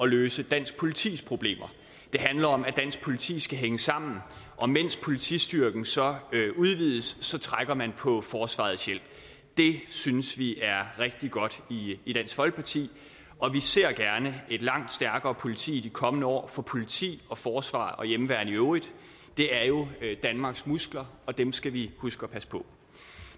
løse dansk politis problemer det handler om at dansk politi skal hænge sammen og mens politistyrken så udvides trækker man på forsvarets hjælp det synes vi er rigtig godt i dansk folkeparti og vi ser gerne et langt stærkere politi i de kommende år for politi og forsvar og hjemmeværn i øvrigt er jo danmarks muskler og dem skal vi huske at passe på